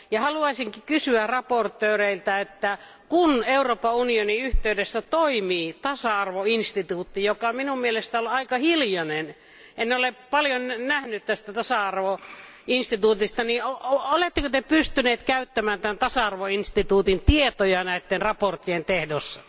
Haluaisinkin kysyä esittelijöiltä, että kun Euroopan unionin yhteydessä toimii tasa arvoinstituutti joka minun mielestäni on aika hiljainen, en ole paljon kuullut tästä tasa arvoinstituutista oletteko te pystyneet käyttämään tämän tasa arvoinstituutin tietoja näiden mietintöjen teossa.